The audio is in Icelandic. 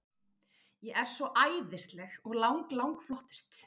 Ég er svo æðisleg og lang, lang flottust.